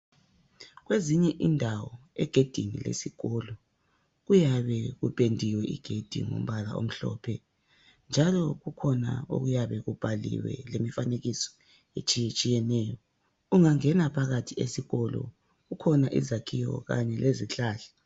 Kwezinye indawo egedini lesikolo kuyabe kupendiwe igedi ngombala omhlophe njalo kukhona okuyabe kubhaliwe lemifanekiso etshiyetshiyeneyo ungangena phakathi esikolo kukhona izakhiwo kanye lezihlahla.